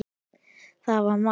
Það var mark.